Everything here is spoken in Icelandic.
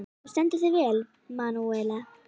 Þú stendur þig vel, Manúella!